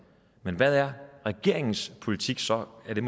men hvad er regeringens politik så er det